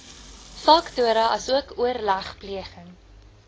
faktore asook oorlegpleging